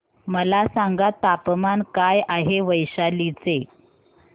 मला सांगा तापमान काय आहे वैशाली चे